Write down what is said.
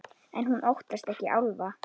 En hún óttast ekki álfa.